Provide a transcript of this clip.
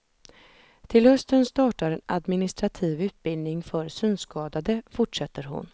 Till hösten startar en administrativ utbildning för synskadade, fortsätter hon.